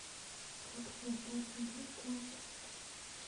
как создать игру в констракт